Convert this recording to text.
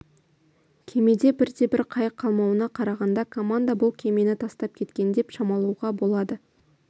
кемеде бірде-бір қайық қалмауына қарағанда команда бұл кемені тастап кеткен деп шамалауға болады